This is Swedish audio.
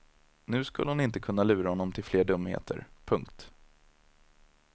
Nu skulle hon inte kunna lura honom till fler dumheter. punkt